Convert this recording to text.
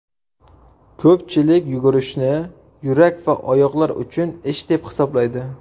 Ko‘pchilik yugurishni yurak va oyoqlar uchun ish deb hisoblaydi.